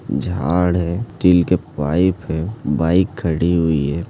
झाड़ है स्टील के पाइप है बाइक खड़ी हुई है।